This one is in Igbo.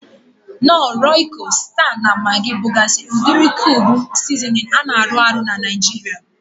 Knor, Royiko, Sita na Magi bugazi udiri kube sizinin a na arụ ahụ n'Naijiria